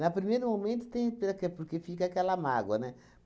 Na primeiro momento tem, é porque fica aquela mágoa, né?